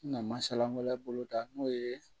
Na masala wɛrɛ bolo da n'o ye